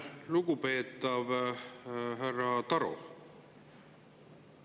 Lugupeetav härra Taro!